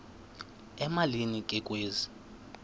emalini ke kwezi